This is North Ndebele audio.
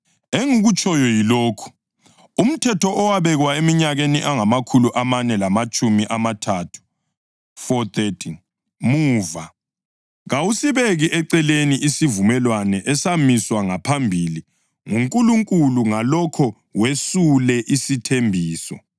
Engikutshoyo yilokhu: Umthetho owabekwa eminyakeni engamakhulu amane lamatshumi amathathu (430) muva, kawusibeki eceleni isivumelwano esamiswa ngaphambili nguNkulunkulu ngalokho wesule isithembiso.